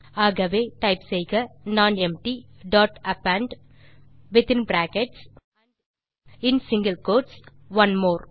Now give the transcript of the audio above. ஆகவே டைப் செய்க non empty dot append within brackets and single quotes one more